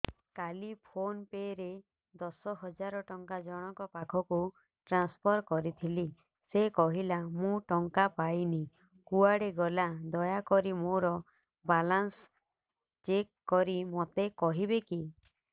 କାଲି PhonePe ରେ ଦଶ ହଜାର ଟଙ୍କା ଜଣକ ପାଖକୁ ଟ୍ରାନ୍ସଫର୍ କରିଥିଲି ସେ କହିଲା ମୁଁ ଟଙ୍କା ପାଇନି କୁଆଡେ ଗଲା ଦୟାକରି ମୋର ବାଲାନ୍ସ ଚେକ୍ କରି ମୋତେ କହିବେ କି